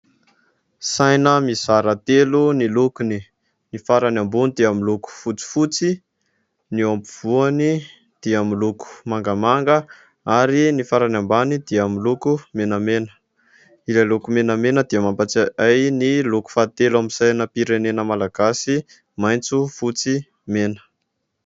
Saina mizara telo ny lokony : ny farany ambony dia miloko fotsifotsy, ny eo ampovoany dia miloko mangamanga ary ny farany ambany dia miloko menamena ; ilay loko menamena dia mampatsiahy ahy ny loko fahatelo amin'ny sainam-pirenena malagasy maitso, fotsy, mena.